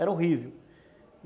Era horrível.